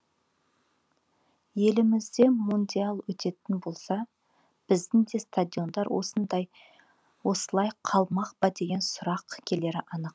елімізде мундиаль өтетін болса біздің де стадиондар осылай қалмақ па деген сұрақ келері анық